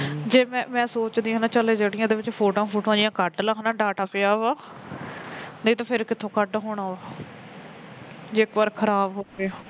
ਜੇ ਮੈ ਸੋਚਦੀ ਹਾਂ ਨਾ ਚਲ ਜਿਹੜੀਆ ਇਸਦੇ ਵਿੱਚ photo ਜਿਹੀਆ ਕੱਢ ਲਵਾ data ਪਇਆ ਵਾ ਨਹੀ ਤਾਂ ਫਿਰ ਕਿਦਰੋ ਕੱਢ ਹੋਣਾ ਵਾ ਜੇ ਇੱਕ ਵਾਰ ਖਰਾਬ ਹੋ ਗਿਆ